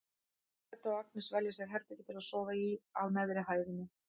Edda og Agnes velja sér herbergi til að sofa í á neðri hæðinni.